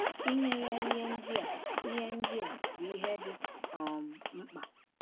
Inye ya ihe ndị a ihe ndị a bụ ihe dị um mkpa.